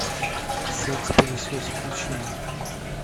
секс пылесос включи мне